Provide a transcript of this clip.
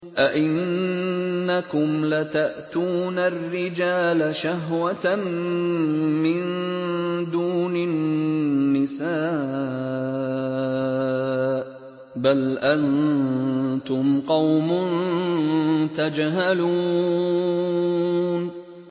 أَئِنَّكُمْ لَتَأْتُونَ الرِّجَالَ شَهْوَةً مِّن دُونِ النِّسَاءِ ۚ بَلْ أَنتُمْ قَوْمٌ تَجْهَلُونَ